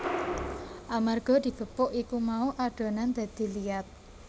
Amarga digepuk iku mau adonan dadi liat